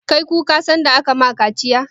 Ka yi kuka sanda ake ma ka kaciya?